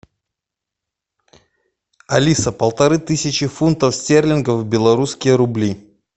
алиса полторы тысячи фунтов стерлингов в белорусские рубли